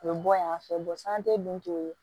U bɛ bɔ yan fɛ dun